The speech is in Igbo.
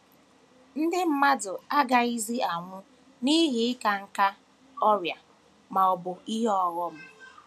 Ndị mmadụ agaghịzi anwụ n’ihi ịka nká, ọrịa, ma ọ bụ ihe ọghọm.